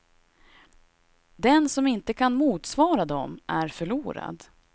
Den som inte kan motsvara dem är förlorad.